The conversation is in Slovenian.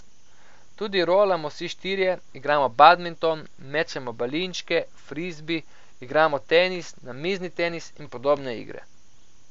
Tudi rolamo vsi štirje, igramo badminton, mečemo balinčke, frizbi, igramo tenis, namizni tenis in podobne igre.